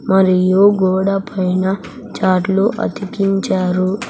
మరియు గోడ పైన చార్ట్ లు అతికించారు.